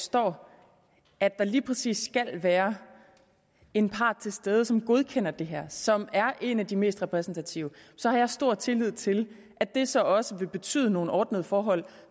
står at der lige præcis skal være en part til stede som godkender det her og som er en af de mest repræsentative så har jeg stor tillid til at det så også vil betyde nogle ordnede forhold